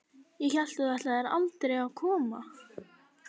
Ég hélt þú ætlaðir aldrei að koma.